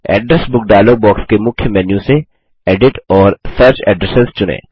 address book dialogue box के मुख्य menu से एडिट और सर्च एड्रेस चुनें